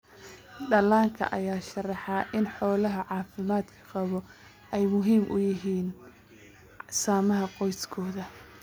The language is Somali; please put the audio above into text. Dhallaanka ayaa sharaxa in xoolaha caafimaadka qaba ay muhiim u yihiin samaha qoysaskooda.